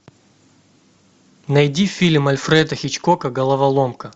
найди фильм альфреда хичкока головоломка